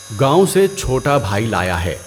گاؤں سے چھوٹا بھائی لایا ہے۔